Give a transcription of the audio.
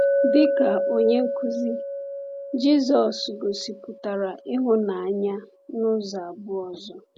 Dịka onye nkuzi, Jisọs gosipụtara ịhụnanya n’ụzọ abụọ ọzọ.